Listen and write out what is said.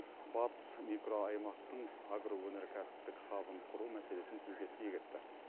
батыс микроаймақтың агроөнеркәсіптік хабын құру мәселесін тілге тиек етті